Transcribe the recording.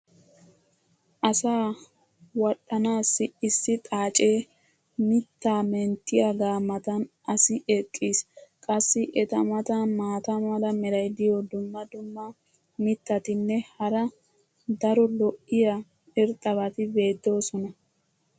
asaa wadhdhanaassi issi xaacee mitaa menttiyaagaa matan asi eqqiis. qassi eta matan maata mala meray diyo dumma dumma mitatinne hara daro lo'iya irxxabati beetoosona.